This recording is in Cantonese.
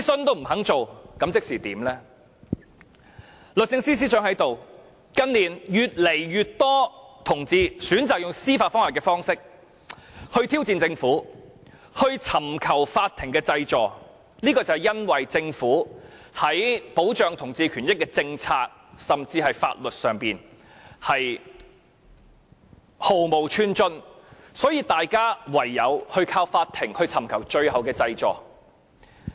律政司司長現時也在席，近年越來越多同志選擇以司法覆核方式挑戰政府，尋求法院濟助，就是由於政府在保障同志權益的政策甚至法律上毫無寸進，所以大家唯有依靠法庭尋找最後的濟助。